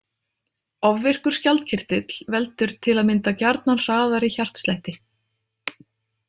Ofvirkur skjaldkirtill veldur til að mynda gjarnan hraðari hjartslætti.